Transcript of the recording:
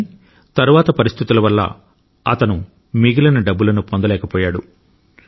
కానీ తరువాత పరిస్థితుల వల్ల అతను మిగిలిన డబ్బులను పొందలేకపోయాడు